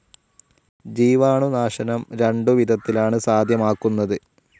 ജീവാണുനാശനം രണ്ടു വിധത്തിലാണ് സാധ്യമാക്കുന്നത്.